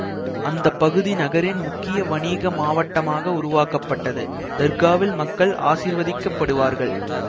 அந்த பகுதி நகரின் முக்கிய வணீக மாவட்டமாக உருவாக்கப்பட்டது தர்காவில் மக்கள் ஆசிர்வதிக்கப்படுவார்கள்